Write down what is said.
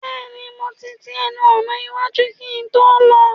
Bẹ́ẹ̀ni mo ti ti ẹnu ọ̀nà iwájú kí n tó lọ